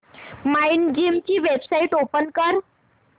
Mindgym ची website open कर